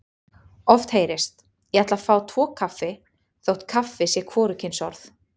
Oft heyrist: Ég ætla að fá tvo kaffi þótt kaffi sé hvorugkynsorð.